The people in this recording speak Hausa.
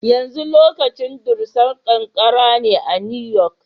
Yanzu lokacin dusar ƙanƙara ne a New York.